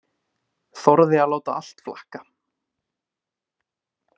Þorði að láta allt flakka.